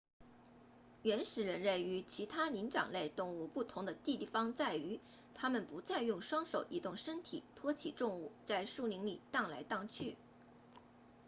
原始人类与其他灵长类动物不同的地方在于他们不再用双手移动身体托起重物在树林里荡来荡去